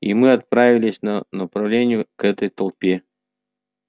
и мы отправились на направлению к этой толпе